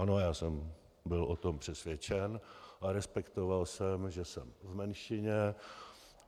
Ano, já jsem byl o tom přesvědčen, a respektoval jsem, že jsem v menšině.